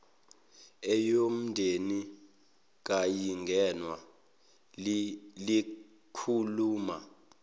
eyomndeni kayingenwa likhuluma